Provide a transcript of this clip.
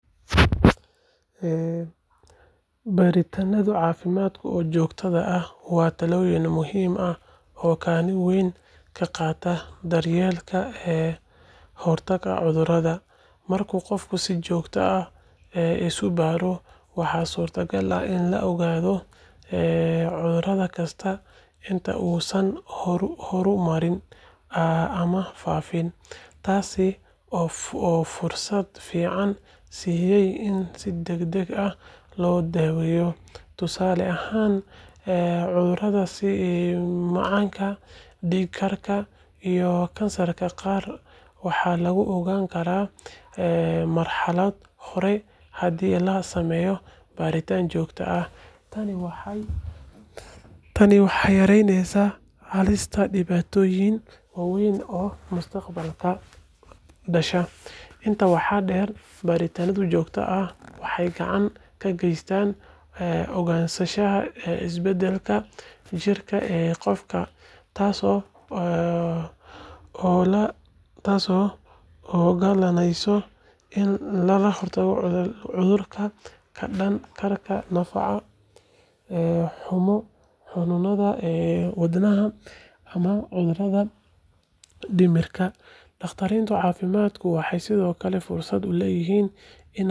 Baaritaanno caafimaad oo joogto ah waa tallaabo muhiim ah oo kaalin weyn ka qaadata daryeelka kahortagga cudurrada. Marka qofku si joogto ah isu baaro, waxaa suuragal ah in la ogaado cudur kasta inta uusan horumarin ama faafin, taas oo fursad fiican siinaysa in si degdeg ah loo daweeyo. Tusaale ahaan, cudurrada sida macaanka, dhiig-karka, iyo kansarka qaar waxaa lagu ogaan karaa marxalado hore haddii la sameeyo baaritaanno joogto ah. Tani waxay yaraynaysaa halista dhibaatooyin waaweyn oo mustaqbalka ka dhasha. Intaa waxaa dheer, baaritaannada joogtada ah waxay gacan ka geystaan ogaanshaha isbeddellada jirka ee qofka, taasoo u oggolaanaysa in laga hortago cudurro ka dhalan kara nafaqo-xumo, xanuunada wadnaha, ama cudurrada dhimirka. Dhakhaatiirta caafimaadka waxay sidoo kale fursad u helaan inay siiyaan talooyin ku saabsan qaab-nololeed caafimaad leh.